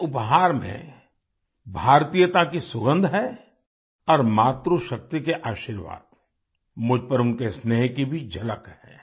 इस उपहार में भारतीयता की सुगंध है और मातृशक्ति के आशीर्वाद मुझ पर उनके स्नेह की भी झलक है